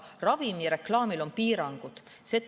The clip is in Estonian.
Ravimireklaamil on piirangud.